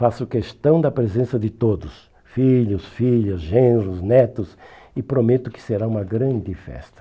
Faço questão da presença de todos, filhos, filhas, genros, netos e prometo que será uma grande festa.